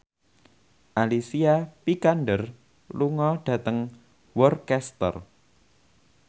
Alicia Vikander lunga dhateng Worcester